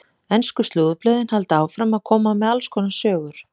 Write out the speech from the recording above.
Ensku slúðurblöðin halda áfram að koma með alls konar sögur.